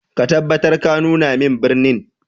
Ka tabbatar ka nuna min birin.